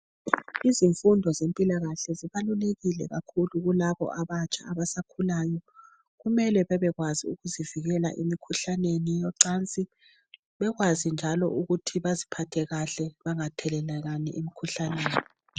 Izifundo zempilakahle zibalulekile kakhulu kulabo abatsha abasakhulayo .Kumele bebe kwazi ukuzivikela emikhuhlaneni yocansi .Bekwazi njalo ukuthi baziphathe kahle bangathelelani imkhuhlane .